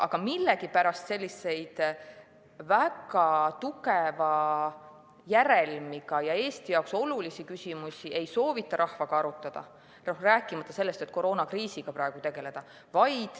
Aga millegipärast selliseid väga tugeva järelmiga ja Eesti jaoks olulisi küsimusi ei soovita rahvaga arutada, rääkimata sellest, et praegu koroonakriisiga tegeleda.